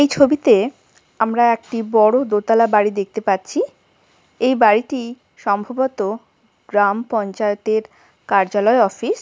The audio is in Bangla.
এই ছবিতে আমরা একটি বড়ো দোতলা বাড়ি দেখতে পাচ্ছি এই বাড়িটি সম্ভবত গ্রাম পঞ্চায়েতের কার্যালয় অফিস ।